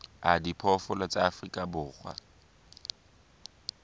a diphoofolo tsa afrika borwa